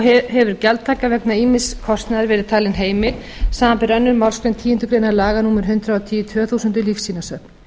þó hefur gjaldtaka vegna ýmiss kostnaðar verið talin heimil samanber annarrar málsgreinar tíundu grein laga númer hundrað og tíu tvö þúsund um lífsýnasöfn